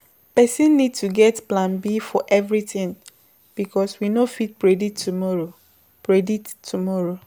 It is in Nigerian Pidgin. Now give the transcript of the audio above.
Person need to get plan B for everything because we no fit predict tomorrow predict tomorrow